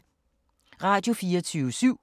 Radio24syv